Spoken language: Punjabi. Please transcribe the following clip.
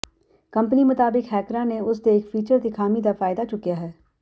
ਕੰਪਨੀ ਮੁਤਾਬਕ ਹੈਕਰਾਂ ਨੇ ਉਸ ਦੇ ਇੱਕ ਫੀਚਰ ਦੀ ਖਾਮੀ ਦਾ ਫਾਇਦਾ ਚੁੱਕਿਆ ਹੈ